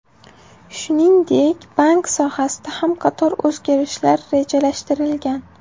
Shuningdek, bank sohasida ham qator o‘zgarishlar rejalashtirilgan.